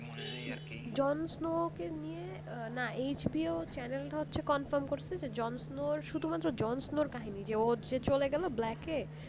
jon snow কে নিয়ে HPOchanel টা হচ্ছে jon snow করছে যে যন্ত্র শুধুমাত্র jon snow কাহিনী যেও যে চলে গেল black এ